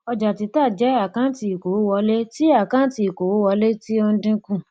ọjàtítà jẹ àkáǹtì ìkówówọlé ti àkáǹtì ìkówówọlé ti ó ń dínkù